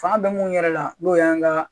Fanga bɛ mun yɛrɛ la n'o y'an ka